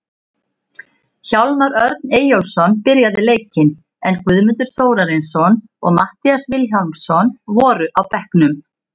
Hólmar Örn Eyjólfsson byrjaði leikinn, en Guðmundur Þórarinsson og Matthías Vilhjálmsson voru á bekknum.